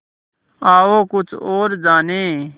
आओ कुछ और जानें